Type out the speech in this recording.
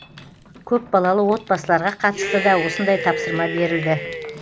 көпбалалы отбасыларға қатысты да осындай тапсырма берілді